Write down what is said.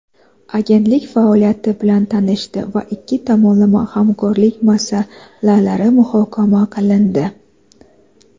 Agentlik faoliyati bilan tanishdi va ikki tomonlama hamkorlik masalalari muhokama qilindi.